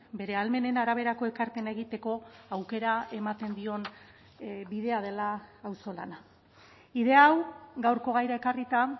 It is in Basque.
bere ahalmenen araberako ekarpena egiteko aukera ematen dion bidea dela auzolana idea hau gaurko gaira ekarrita